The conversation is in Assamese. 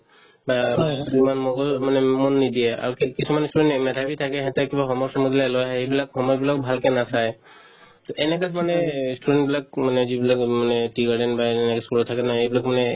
বা যিমান মগজুত মানে মন নিদিয়ে আৰু কি~ কিছুমান ই student মেধাবি থাকে সিহঁতে কিবা home work চোমৱাৰ্ক দিলে লৈ আহে এইবিলাক home work বিলাক ভালকে নাচাই to এনে type মানে অ student বিলাক মানে যিবিলাক মানে tea garden বা এনেকুৱা school ত থাকে না সেইবিলাক মানে